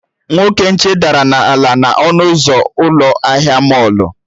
Nwoke nche dara na-ala n'ọnụ ụzọ ụlọ ahịa mọlụ